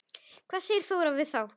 Hvað segir Þóra við þá?